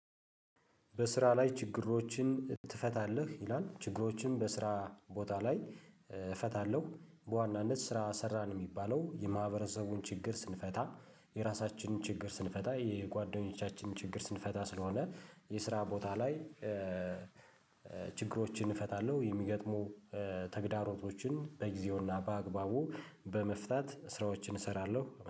በስራ? ላይ ችግሮችን ትፈታለህ ይላል ችግሮችን በስራ ቦታ ላይ እፈታለሁ በዋናነት ስራ ሰራን የሚባለው የማህበረሰቡን ችግር ስንፈታ የራሳችንን ችግር ስንፈታ የጓደኞቻችንን ችግር ስንፈታ ስለሆነ የስራ ቦታ ላይ ችግሮችን እፈታለሁ። የሚገጥሙ ተግዳሮቶችን በጊዜውና በአግባቡ በመፍታት ስራዎችን እሰራለሁ